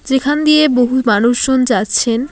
যেখান দিয়ে বহু মানুষজন যাচ্ছেন।